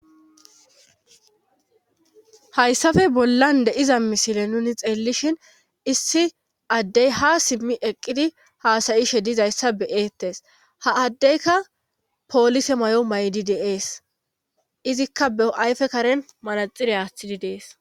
hayssafe bollan de iza misile nuni xeellishin issi addey ha simmi eqqidi haasayishe dizayssa beyeettes ha addeyka poolise may7o maydi deees izikka be ayfe karen manaxire aaththidi dees